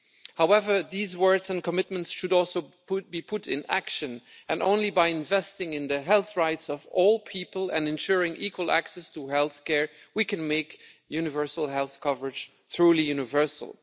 However, these words and commitments should also put be put into action, and only by investing in the health rights of all people and ensuring equal access to health care can we make universal health coverage truly universal.